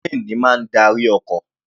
Captain ní má ń darí ọkọ̀.